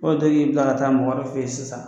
bila ka taa mɔgɔ wvrɛ fɛ yen sisan.